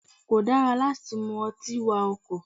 Kò dára láti mú ọtí wa ọkọ̀.